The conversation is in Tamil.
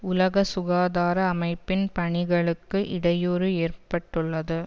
உலக சுகாதார அமைப்பின் பணிகளுக்கு இடையூறு ஏற்பட்டுள்ளது